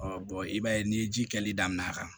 i b'a ye ni ye ji kɛli daminɛn'a kan